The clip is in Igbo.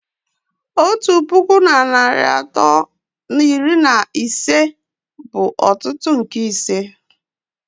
Otu puku na narị atọ na iri na ise bụ otutu nke ise